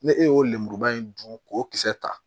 Ne e y'o lemuruba in dun k'o kisɛ ta